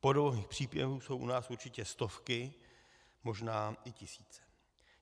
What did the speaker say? Podobných příběhů jsou u nás určitě stovky, možná i tisíce.